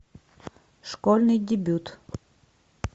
школьный дебют